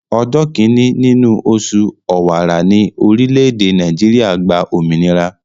Ọjọ́ kíni nínú oṣù Ọ̀wàrà ni orile-ede Naijiria gba òmìnira.